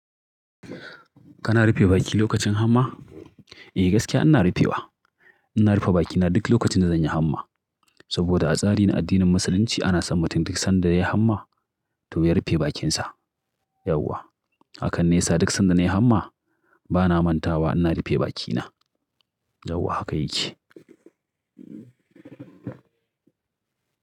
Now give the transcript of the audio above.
Kana rufe baki lokacin hamma? Eh gaskiya ina rufe wa. Ina rufe bakina duk lokacin da zan yi hamma. Saboda a tsari na addinin Musulunci ana son mutum duk sanda ya yi hamma to ya rufe bakinsa. Yauwa. Hakan ne yasa duk sanda na yi hamma bana mantawa ina rufe bakina. Yauwa haka yake.